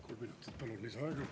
Kolm minutit palun lisaaega.